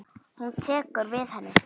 Hún tekur við henni.